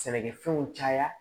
Sɛnɛkɛfɛnw caya